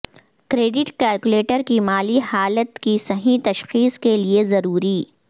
credit calculator کی مالی حالت کی صحیح تشخیص کے لئے ضروری